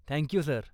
Thank you, sir.